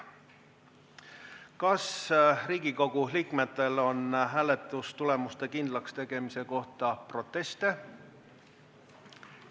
" Kas Riigikogu liikmetel on hääletamistulemuste kindlakstegemise kohta proteste?